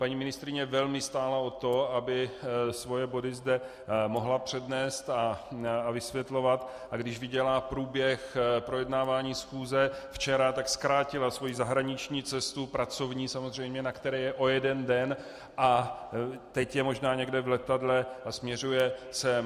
Paní ministryně velmi stála o to, aby svoje body zde mohla přednést a vysvětlovat, a když viděla průběh projednávání schůze včera, tak zkrátila svoji zahraniční cestu, pracovní samozřejmě, na které je, o jeden den a teď je možná někde v letadle a směřuje sem.